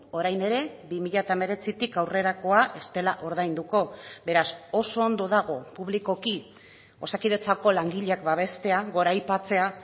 orain ere bi mila hemeretzitik aurrerakoa ez dela ordainduko beraz oso ondo dago publikoki osakidetzako langileak babestea goraipatzea